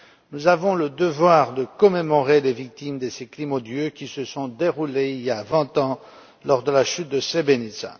Nous avons le devoir de commémorer les victimes de ces crimes odieux, qui se sont déroulés il y a vingt ans, lors de la chute de Srebrenica.